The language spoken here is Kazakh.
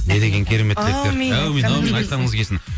не деген керемет тілектер әумин әумин әумин айтқаныңыз келсін